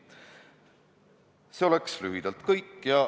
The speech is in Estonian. See on lühidalt kõik.